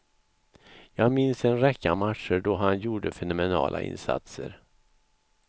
Jag minns en räcka matcher, då han gjorde fenomenala insatser.